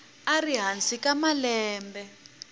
a ri hansi ka malembe